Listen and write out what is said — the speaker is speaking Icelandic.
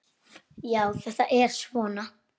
Já, þetta er svona.